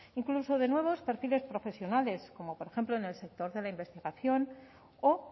incluso de nuevos perfiles profesionales como por ejemplo en el sector de la investigación o